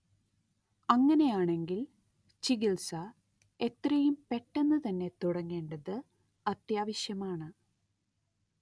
അങ്ങനെയാണെങ്കിൽ ചികിത്സ എത്രയും പെട്ടെന്നു തന്നെ തുടങ്ങേണ്ടത് അത്യാവശ്യമാണ്